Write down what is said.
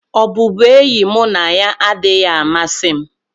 Ọbụbụenyi mụ na ya adịghị amasị m.